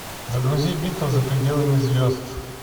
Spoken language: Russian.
загрузи битва за пределами звезд